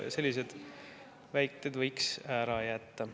Sellised väited võiks ära jätta.